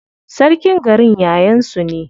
Sarkin garin yayan su ne.